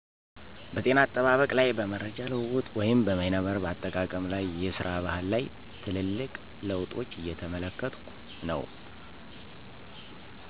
" በ ጤና አጠባበቅ ላይ በ መረጃ ልዉዉጥ ወይም በይነመረብ አጠቃቀም ላይ የስራ ባህል ላይ ትልልቅ ለዉጦች እየተመለከትኩ ነዉ"።